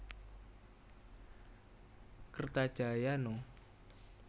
Kertajaya No